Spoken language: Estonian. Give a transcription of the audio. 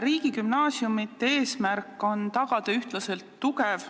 Riigigümnaasiumide eesmärk on tagada ühtlaselt tugev,